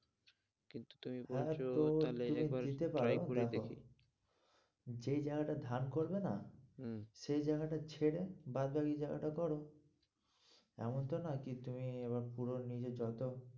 কিন্তু তুমি বলছো তাহলে একবার, দিতে পারো, দেখি যেই জায়গাটা ধান করবে না, হম সেই জায়গাটা ছেড়ে বাদবাকি জায়গাটা করো এমন তো না কি তুমি এবার পুরো নিজের যত,